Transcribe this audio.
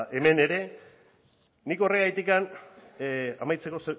hemen ere amaitzeko